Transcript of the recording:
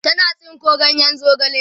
tana tsinko ganyen zogale